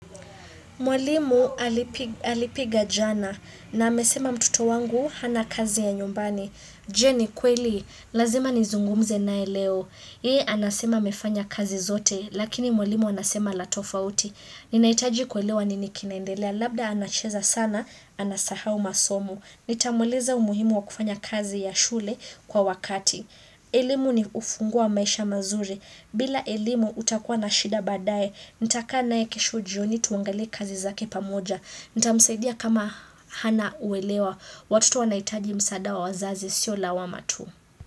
Mwalimu alipiga jana na amesema mtoto wangu hana kazi ya nyumbani. Je ni kweli, lazima nizungumze naye leo. Yeye anasema amefanya kazi zote, lakini mwalimu anasema la tofauti. Ninahitaji kuelewa nini kinaendelea, labda anacheza sana, anasahau masomo. Nitamuuliza umuhimu wa kufanya kazi ya shule kwa wakati. Elimu ni ufunguo wa maisha mazuri. Bila elimu utakuwa na shida baadae, nitakaa naye kesho jioni tuangalie kazi zake pamoja. Nitamsaidia kama hana uelewa. Watoto wanahitaji msaada wa wazazi sio lawama tu.